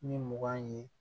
Ni mugan ye